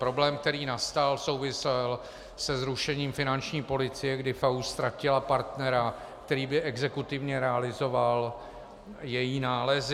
Problém, který nastal, souvisel se zrušením finanční policie, kdy FAÚ ztratil partnera, který by exekutivně realizoval její nálezy.